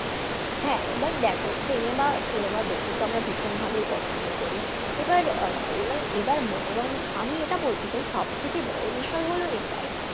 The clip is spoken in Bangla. হ্যাঁ এবার দেখো cinema cinema দেখতে তো আমরা ভীষণভাবেই পছন্দ করি, এবার এবার এবার মনোরঞ্জন আমি এটা বলতে চাই সব থেকে বড়ো বিষয় হল এটাই,